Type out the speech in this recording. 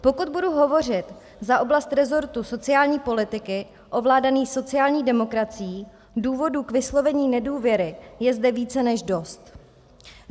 Pokud budu hovořit za oblast rezortu sociální politiky ovládaný sociální demokracií, důvodů k vyslovení nedůvěry je zde více než dost.